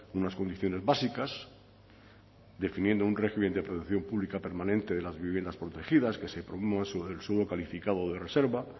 unas condiciones básicas definiendo un régimen de protección pública permanente de las viviendas protegidas que se sobre el suelo calificado de reserva